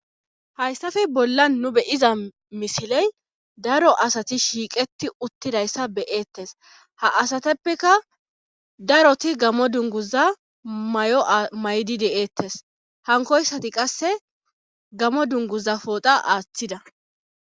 Hayssafe bolla nu beyiza misiley daro asati shiiqeti uttidayssa beyeettes ha asateppeka daroti gamo dunguza may'o may'di deeettes hankoyssati qasse gamo dunguza pooxa aaththida.